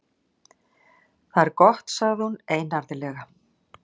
Það er gott- sagði hún einarðlega.